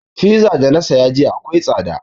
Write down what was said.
Fiza da na saya jiya akwai tsada